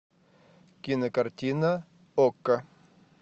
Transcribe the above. кинокартина окко